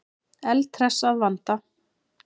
Eldhress að vanda.